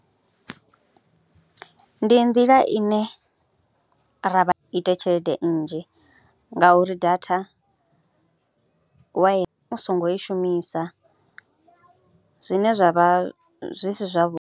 Ndi nḓila ine ra vha ite tshelede nnzhi ngauri data wa, u songo i shumisa zwine zwa vha zwi si zwavhuḓi.